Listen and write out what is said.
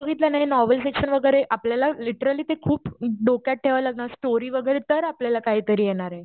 बघितलं न novel section वैगरे आपल्याला लिटरली ते खूप डोक्यात ठेवायला लागणार ते स्टोरी वगैरे तर आपल्याला काहीतरी येणारे.